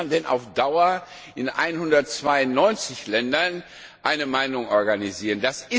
Wie will man denn auf Dauer mit 192 Ländern eine Meinung organisieren?